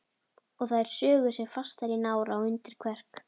Og þær sugu sig fastar í nára og undir kverk.